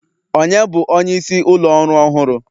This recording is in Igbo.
Ònye bụ onyeisi ụlọ ọrụ ọhụrụ?